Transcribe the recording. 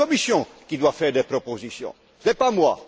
C'est la Commission qui doit faire des propositions, ce n'est pas moi!